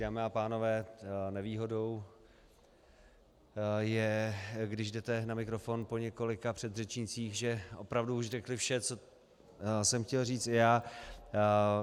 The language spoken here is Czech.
Dámy a pánové, nevýhodou je, když jdete na mikrofon po několika předřečnících, že opravdu už řekli vše, co jsem chtěl říct i já.